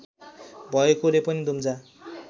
भएकोले पनि दुम्जा